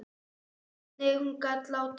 Hvernig hún gat látið.